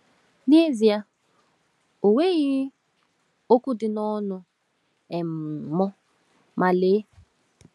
N’ezie, ọ nweghị okwu dị n’ọnụ um m, ma lee!